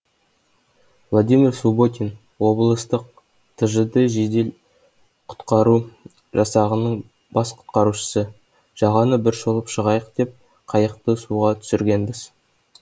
владимир субботин облыстық тжд жедел құтқару жасағының бас құтқарушысы жағаны бір шолып шығайық деп қайықты суға түсіргенбіз